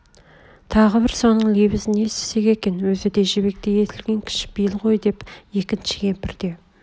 тағы бір соның лебізін естісек екен өзі де жібектей есілген кішіпейіл ғой деп екінші кемпір де